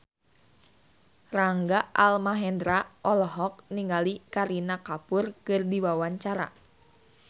Rangga Almahendra olohok ningali Kareena Kapoor keur diwawancara